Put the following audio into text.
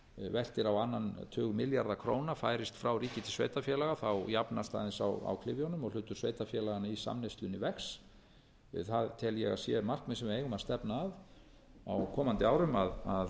veltir á annan tug milljarða króna færist frá ríki til sveitarfélaga jafnast aðeins á klyfjunum og hlutur sveitarfélaganna í samneyslunni vex það tel ég að sé markmið þess sem við eigum að stefna að á komandi árum að